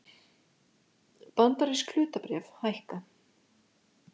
Bandarísk hlutabréf hækka